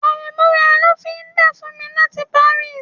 Àrẹ̀mú ra lọ́fíndà fún mi láti Paris